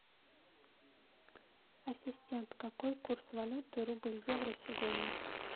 ассистент какой курс валюты рубль евро сегодня